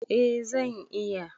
A zan iya